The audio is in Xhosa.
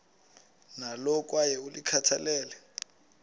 nalo kwaye ulikhathalele